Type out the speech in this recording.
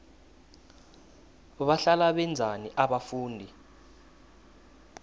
bahlala benzani abafundi